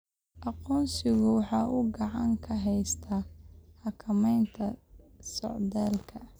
Aqoonsigu waxa uu gacan ka geystaa xakamaynta socdaalka.